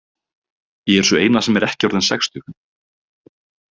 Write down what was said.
Ég er sú eina sem er ekki orðin sextug.